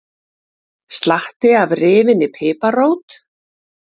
Slatti af rifinni piparrót